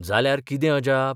जाल्यार कितें अजाप?